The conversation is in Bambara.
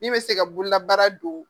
Min bɛ se ka bololabaara don